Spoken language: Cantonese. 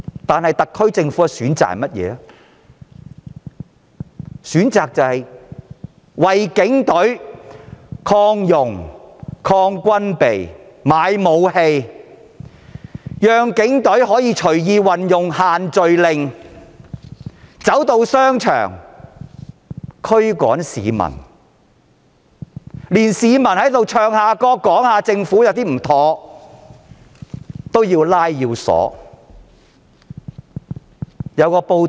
但是，特區政府卻選擇擴充警隊、軍備，任由警隊運用"限聚令"進入商場驅趕市民，連唱歌批評政府也要拘捕。